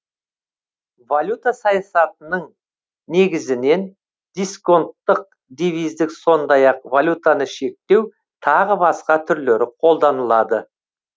валюта саясатының негізінен дисконттық девиздік сондай ақ валютаны шектеу тағы басқа түрлері қолданылады